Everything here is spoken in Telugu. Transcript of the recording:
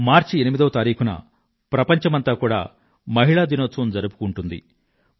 మార్చి 8వ తేదీన ప్రపంచామంతా కూడా మహిళా దినోత్సవంగా జరుపుకుంటుంది